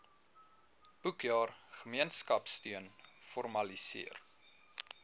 boekjaar gemeenskapsteun formaliseer